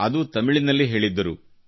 ಅದೂ ತಮಿಳಿನಲ್ಲಿ ಹೇಳಿದ್ದರು